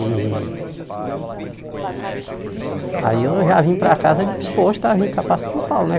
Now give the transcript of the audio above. E... Aí eu já vim para casa disposto a vim cá para São Paulo, né?